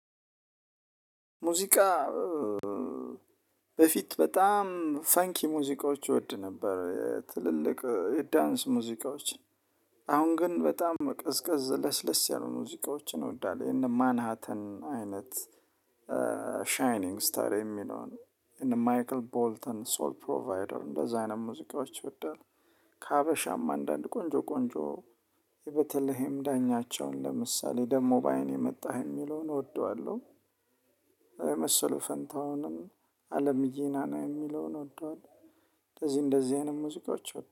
ሙዚቃ በፊት በጣም ፈንኪ ሙዚቃዎች ይወድ ነበር ትልልቅ የዳንስ ሙዚቃዎች። አሁን ግን በጣም ቅዝቀዝ ለስለስ ያሉ ሙዚቃዎችን እወዳለሁ የነ ማንሃተን አይነት ሻይኒንግ ስታር የሚለውን የነ ማይክል ቦልተን ሶል ፕሮቫይደር እንደዛ አይነት ሙዚቃዎች ይወዳል። ከሀበሻም አንዳንድ ቆንጆ በተለይም ዳኛቸውን ለምሳሌ ደግሞ በአይን የመጣህ የሚለውን እወደዋለሁ። የመሰሉ ፈንታውንም አለም ጂናና የሚለውን ወዷል። እንደዚህ እንደዚህ አይነት ሙዚቃዎች